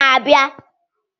weta inyinya ahu mgbe i na-abịa